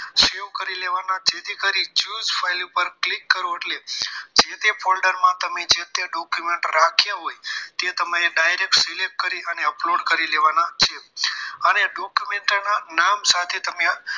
Save કરી લેવાના જેથી કરી choose file ઉપર click કરો એટલે જે તે folder માં તમે જે તે document રાખ્યા હોય તે તમારે direct select કરી અને upload કરી લેવાના છે અને document ના નામ સાથે